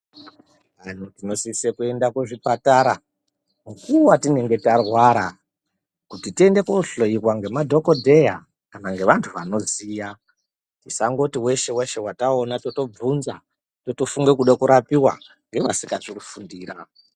Vantu vanosisa kuenda kuzvipatara mukuwo watinenge tarwara kuti tiende kundohloiwa nemadhokoteya kana nevantu vanoziya tisangoti weshe weshe wataona totovhunza totofunga kuda kurapiwa ngevasikazi kuzvifundira.